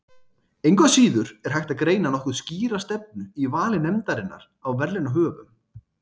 Engu að síður er hægt að greina nokkuð skýra stefnu í vali nefndarinnar á verðlaunahöfum.